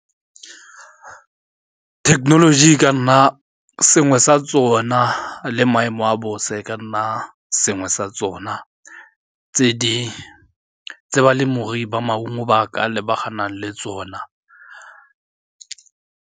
Thekenoloji e ka nna sengwe sa tsona le maemo a bosa e ka nna sengwe sa tsona tse balemirui ba maungo ba ka lebagana le tsona.